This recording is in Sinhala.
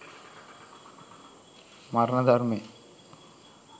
මරණ ධර්මය